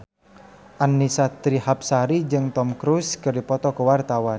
Annisa Trihapsari jeung Tom Cruise keur dipoto ku wartawan